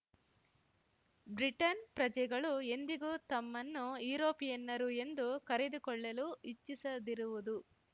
Britain ಪ್ರಜೆಗಳು ಎಂದಿಗೂ ತಮ್ಮನ್ನು ಯರೋಪಿಯನ್ನರು ಎಂದು ಕರೆದುಕೊಳ್ಳಲು ಇಚ್ಛಿಸದಿರುವುದು